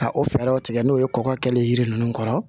Ka o fɛɛrɛw tigɛ n'o ye kɔkɔ kɛlen kɔrɔ